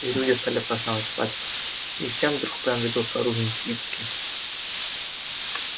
и люди стали праздновать свадьбы и всем вдруг понадобился рувим свицкий